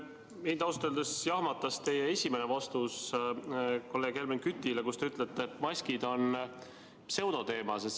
Mind ausalt öeldes jahmatas teie esimene vastus kolleeg Helmen Kütile, kui te ütlesite, et maskid on pseudoteema.